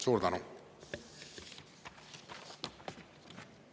Suur tänu!